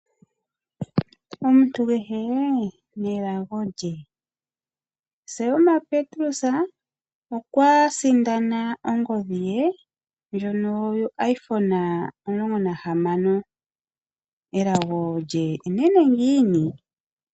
Omuntu kehe nelago lye. Selma Petrus okwa sindana ongodhi ye yoIphone 16. Elago lye enene ngiini?